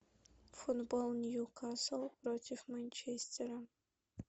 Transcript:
футбол ньюкасл против манчестера